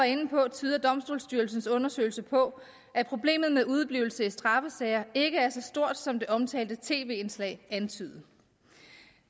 inde på tyder domstolsstyrelsens undersøgelse på at problemet med udeblivelse i straffesager ikke er så stort som det omtalte tv indslag antydede